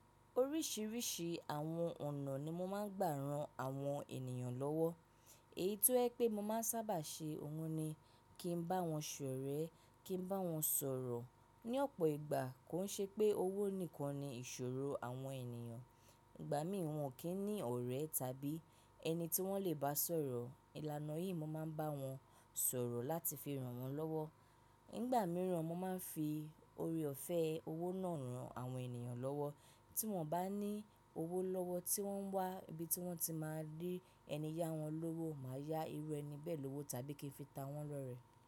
Oríṣiríṣi àwọn ọ̀nà ni mo máa ń gbà ran àwọn ènìyàn lọ́wọ́. Èyí tó jẹ pé mo máa ń sábà ṣe òun ni kí n bá wọn ṣ'ọ̀rẹ́, kí n bá wọn sọ̀rọ̀. Ni ọ̀pọ̀ ìgbà, kò ń ṣe pé owó nìkan ni ìṣòro àwọn ènìyàn. Ìgbà mìíràn, wọ́n kì í ní ọ̀rẹ́ tàbí ẹni tí wọ́n lè bá sọ̀rọ̀. Ilànà yìí, mo máa ń bá wọn sọ̀rọ̀ láti fi ràn wọ́n lọ́wọ́. Nígbà mìíràn, mo máa ń fi oore-ọ̀fẹ́ owó náà ran àwọn ènìyàn lọ́wọ́. Tí wọ́n bá ní owó lọ́wọ́ tí wọ́n ń wá ibi tí wọ́n ti máa rí ẹni yá wọn lówó, màá yá irú ẹni bẹ́ẹ̀ lówó tàbí kí n fi ta wọ́n lọ́rẹ́.